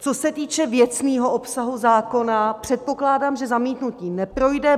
Co se týče věcného obsahu zákona, předpokládám, že zamítnutí neprojde.